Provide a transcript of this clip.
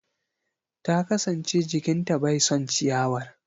Ta kasance jikin ta bai son ciyawar.